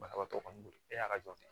Banabaatɔ kɔni bolo e y'a ka jɔn ye